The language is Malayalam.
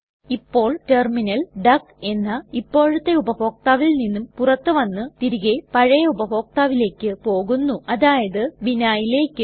ഇപ്പോൾ ടെർമിനൽ ഡക്ക് എന്ന ഇപ്പോഴത്തെ ഉപഭോക്താവിൽ നിന്നും പുറത്തു വന്ന് തിരികെ പഴയ ഉപഭോക്താവിലേക്ക് പോകുന്നു അതായത് vinhaiലേക്ക്